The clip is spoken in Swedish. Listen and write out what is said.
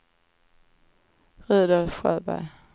Rudolf Sjöberg